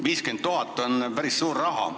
50 000 on päris suur raha.